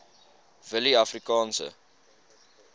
willieafrikaanse